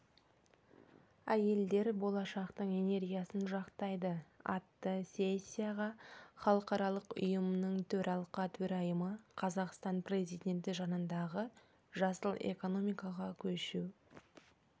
әйелдер болашақтың энергиясын жақтайды атты сессияға халықаралық ұйымының төралқа төрайымы қазақстан президенті жанындағы жасыл экономикаға көшу